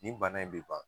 Nin bana in bɛ ban